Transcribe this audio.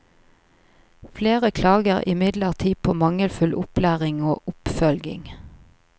Flere klager imidlertid på mangelfull opplæring og oppfølging.